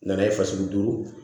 N nana ye fasugu duuru